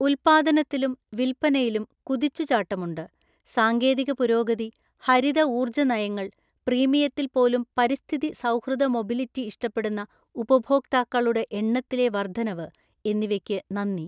ഉൽപ്പാദനത്തിലും വിൽപ്പനയിലും കുതിച്ചുചാട്ടമുണ്ട്, സാങ്കേതിക പുരോഗതി, ഹരിത ഊർജ്ജ നയങ്ങൾ, പ്രീമിയത്തിൽ പോലും പരിസ്ഥിതി സൗഹൃദ മൊബിലിറ്റി ഇഷ്ടപ്പെടുന്ന ഉപഭോക്താക്കളുടെ എണ്ണത്തിലെ വർദ്ധനവ് എന്നിവയ്ക്ക് നന്ദി.